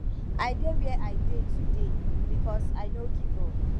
i dey where i dey today because i no give up